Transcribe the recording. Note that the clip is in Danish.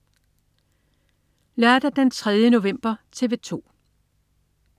Lørdag den 3. november - TV 2: